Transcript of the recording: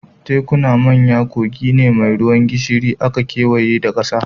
Tekuna manyan kogi ne mai ruwan gishiri da aka kewaye da ƙasa